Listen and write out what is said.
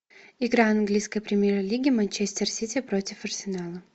игра английской премьер лиги манчестер сити против арсенала